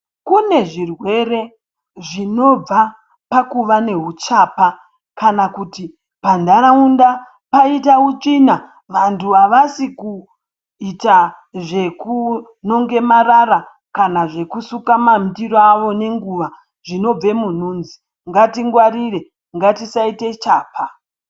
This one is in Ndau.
Kune zvirwere zvinobva pakuva neuchapa kana kuti panharaunda paita utsvina vantu havasi kuita zvekunonge marara kana zvekusuke mandiro avo nenguva zvinobve munhunzi ngatingwarire ngatisaite chapa.